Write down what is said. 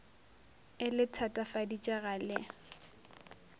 e le thatafaditše ga le